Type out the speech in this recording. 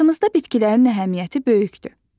Həyatımızda bitkilərin əhəmiyyəti böyükdür.